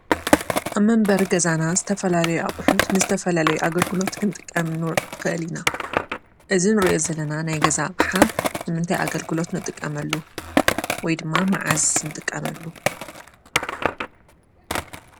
ኣብ መንበሪ ገዛና ዝትፈላለዩ ኣቑሑት ንዝተፈላለዩ ኣገልግሎት ክንጥቀም ንኽእል ኢና፡፡ እዚ እንሪኦ ዘለና ናይ ገዛ ኣቕሓ ንምንታይ ኣገልግሎት ንጥቀመሉ? ወይ ድማ መዓዝ ንጥቀመሉ?